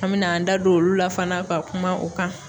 An mɛna an da don olu la fana ka kuma o kan.